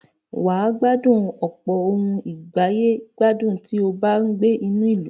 Wà á gbádùn ọ̀pọ̀ ohùn ìgbàyè gbádùn tí ó bá ń gbé inú ìlú.